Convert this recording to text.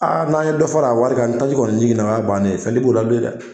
Aa n'a ye dɔ fara a wari ka ni taji kɔni jigina o ya bannen ye, fɛn t'i b'ola bilen dɛ.